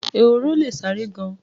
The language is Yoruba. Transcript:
Ehoro le sáré gan-an.